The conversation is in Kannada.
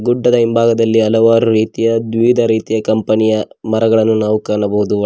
ಗುಡ್ಡದ ಹಿಂಭಾಗದಲ್ಲಿ ಹಲವಾರು ರೀತಿಯ ದ್ವಿಇದ ರೀತಿಯ ಕಂಪನಿ ಯ ಮರಗಳನ್ನು ನಾವು ಕಾಣಬಹುದು.